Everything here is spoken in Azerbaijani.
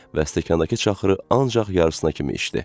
Və stəkandakı çaxırı ancaq yarısına kimi içdi.